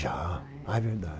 Já, a é verdade.